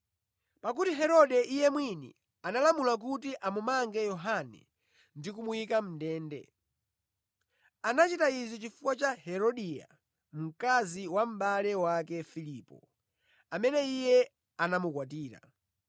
Pakuti Herode iye mwini analamula kuti amumange Yohane ndi kumuyika mʼndende. Anachita izi chifukwa cha Herodia, mkazi wa mʼbale wake Filipo, amene iye anamukwatira.